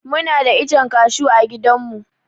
Muna da ichen cashew a gidan mu